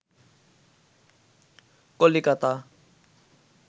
Calcutta